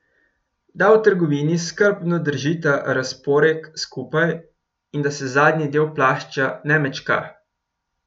Da v trgovini skrbno držita razporek skupaj in da se zadnji del plašča ne mečka.